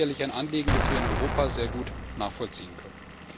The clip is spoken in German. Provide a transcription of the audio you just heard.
Das ist sicherlich ein Anliegen, das wir in Europa sehr gut nachvollziehen können.